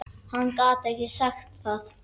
Hann gat ekki sagt það.